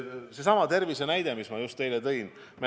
Seesama tervishoiu näide, mis ma just teile tõin.